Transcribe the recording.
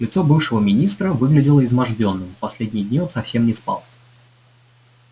лицо бывшего министра выглядело измождённым последние дни он совсем не спал